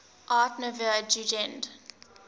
art nouveau jugend